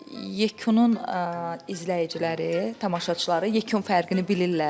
Yekunun izləyiciləri, tamaşaçıları yekun fərqini bilirlər.